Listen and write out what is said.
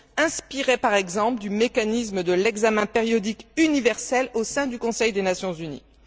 inspiré, par exemple, du mécanisme de l'examen périodique universel au sein du Conseil des Nations unies.